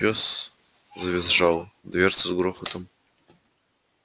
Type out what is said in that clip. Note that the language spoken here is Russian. пёс завизжал дверцы с грохотом